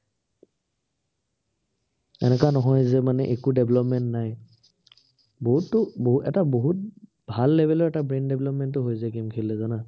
এনেকুৱা নহয় যে মানে একো development নাই। বহুতটো বহু এটা বহুত ভাল level ৰ এটা brain development ও হৈ যায় game খেলিলে জানা?